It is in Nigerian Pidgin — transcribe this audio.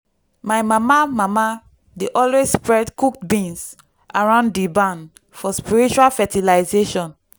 my mama mama dey always spread cooked beans around di barn for spiritual fertilization.